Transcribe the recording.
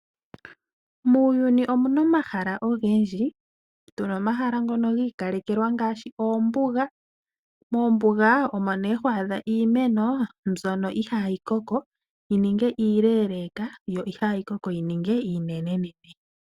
Muuyuni omuna omahala ogendji. Tuna omahala ngono ga ikalekelwa ngaashi oombuga. Mombuga omo nee ho adha iimeno mbyoka ihaa yi koko yi ninge iileleeka yo ihayi koko yi ninge iinene.